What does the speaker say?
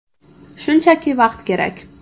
Shunchaki vaqt kerak.